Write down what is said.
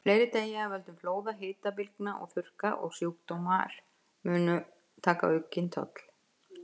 Fleiri deyja af völdum flóða, hitabylgna og þurrka, og sjúkdómar munu taka aukinn toll.